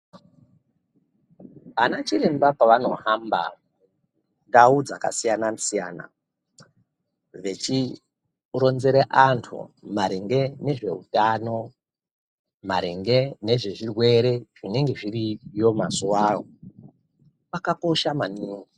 Ana chiremba pavanohamba ndau dzakasiyana siyana vechironzera anhu maringe nezveutano, maringe nezvezvirwere zvinenge zviriyo mazuwao kwakakosha maningi.